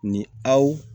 Ni aw